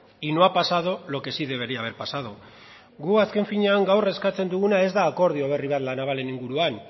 y no ha pasado lo que sí debería haber pasado gu azken finean gaur eskatzen duguna ez da akordio berri bat la navalen inguruan